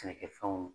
Sɛnɛkɛfɛnw